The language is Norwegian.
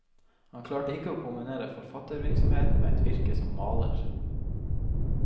Han klarte ikke å kombinere forfattervirksomheten med et virke som maler.